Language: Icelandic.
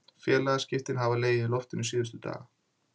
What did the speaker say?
Félagaskiptin hafa legið í loftinu síðustu daga.